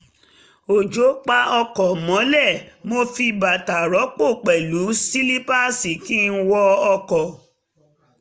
òjò pa ọkọ̀ mọ́lẹ̀ mo fi bàtà rọpò pẹ̀lú sílípáàsì kí n wọ ọkọ̀